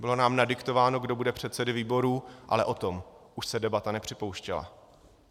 Bylo nám nadiktováno, kdo bude předsedy výborů, ale o tom už se debata nepřipouštěla.